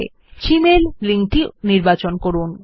drop down তালিকা থেকে Gmail লিঙ্কটি নির্বাচন করুন